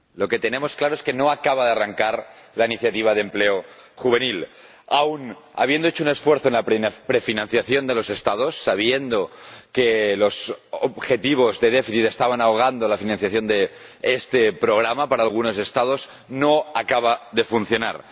Señora Presidenta, lo que tenemos claro es que no acaba de arrancar la Iniciativa de Empleo Juvenil. Aun habiendo hecho un esfuerzo en la prefinanciación de los Estados, sabiendo que los objetivos de déficit estaban ahogando la financiación de este programa para algunos Estados, no acaba de funcionar.